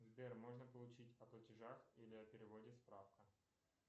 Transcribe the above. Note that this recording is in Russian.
сбер можно получить о платежах или о переводе справку